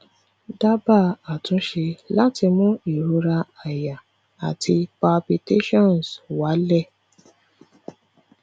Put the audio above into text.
daba atunse lati mu irora aya ati palpitations wa le